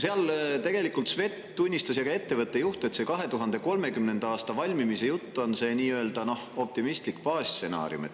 Seal tunnistasid Svet ja ka ettevõtte juht, et see 2030. aastal valmimise jutt on nii-öelda optimistlik baasstsenaarium.